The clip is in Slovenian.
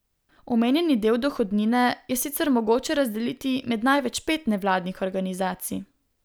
Omenjeni del dohodnine je sicer mogoče razdeliti med največ pet nevladnih organizacij.